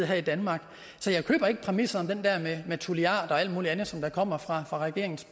her i danmark så jeg køber ikke præmissen med tulliarder og alt muligt andet som kommer fra regeringens